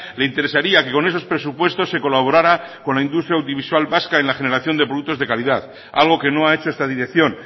le interesaría que con esos presupuestos se colaborará con la industria audiovisual vasca en la generación de productos de calidad algo que no ha hecho esta dirección